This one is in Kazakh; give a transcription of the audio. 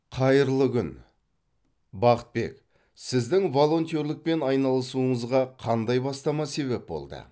қайырлы күн бақытбек сіздің волонтерлікпен айналысуыңызға қандай бастама себеп болды